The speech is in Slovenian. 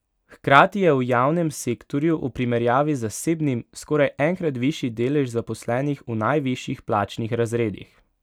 Hkrati je v javnem sektorju v primerjavi z zasebnim skoraj enkrat višji delež zaposlenih v najvišjih plačnih razredih.